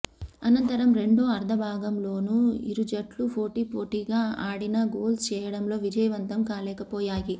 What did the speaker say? అనంతరం రెండో అర్ధభాగంలోనూ ఇరుజట్లు పోటాపోటీగా ఆడినా గోల్స్ చేయడంలో విజయవంతం కాలేకపోయాయి